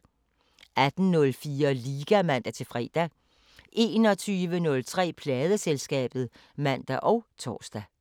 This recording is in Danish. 18:04: Liga (man-fre) 21:03: Pladeselskabet (man og tor)